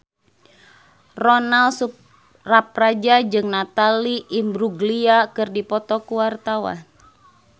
Ronal Surapradja jeung Natalie Imbruglia keur dipoto ku wartawan